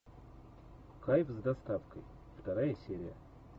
кайф с доставкой вторая серия